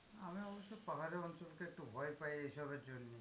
আমি অবশ্য পাহাড়ি অঞ্চলকে একটু ভয় পাই এই সবের জন্যেই।